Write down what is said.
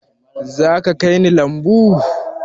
Zaka kai ni lambu?